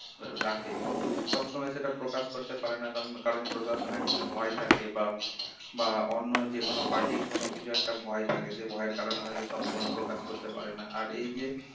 রাখে কিন্তু সব সময় সেটা প্রকাশ করতে পারে না কারণ কারণ প্রশাসনের কিছু ভয় থাকে বা বা অন্য যেকোন party র কোনো কিছুর একটা ভয় থাকে যে ভয়ের কারণে হয়তো সবসময় প্রকাশ করতে পারেনা, আর এই যে